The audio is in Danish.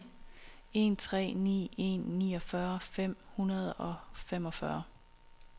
en tre ni en niogfyrre fem hundrede og femogfyrre